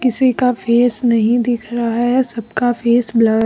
किसी का फेस नहीं दिख रहा है सबका फेस ब्ल--